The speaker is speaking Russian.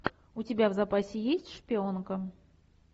у тебя в запасе есть шпионка